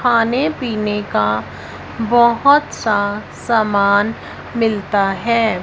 खाने पीने का बहोत सा सामान मिलता है।